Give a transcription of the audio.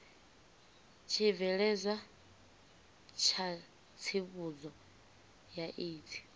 tshibveledzwa tsha tsivhudzo ya aids